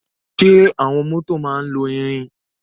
Ṣe awọn mọto ma lọ irin?